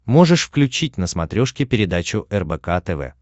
можешь включить на смотрешке передачу рбк тв